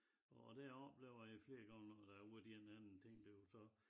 Og der oplever jeg flere gange når der er hvor der er en eller anden ting derude så